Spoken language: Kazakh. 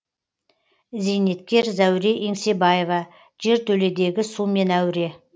зейнеткер зәуре еңсебаева жертөледегі сумен әуре